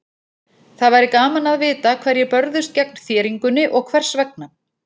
Það væri gaman að vita hverjir börðust gegn þéringunni og hvers vegna.